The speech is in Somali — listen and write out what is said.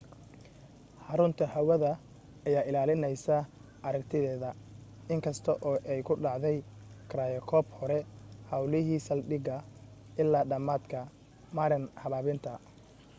xarrunta hawadda ayaa ilaalinaysay aragtideeda in kasta oo ay ku dhacday gryocope hore hawlihii saldhiga ilaa dhammaadka marin habaabinta